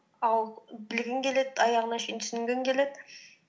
ал білгің келеді аяғана шейін түсінгің келеді